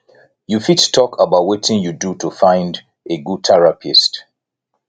you fit talk about wetin you do to find a good therapist